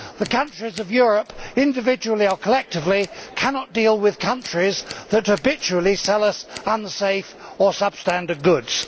The countries of Europe, individually or collectively, cannot deal with countries that habitually sell us unsafe or substandard goods.